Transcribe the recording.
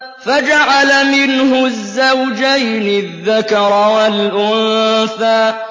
فَجَعَلَ مِنْهُ الزَّوْجَيْنِ الذَّكَرَ وَالْأُنثَىٰ